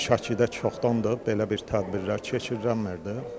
Şəkidə çoxdandır belə bir tədbirlər keçirilir.